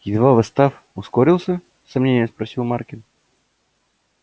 едва восстав ускорился с сомнением спросил маркин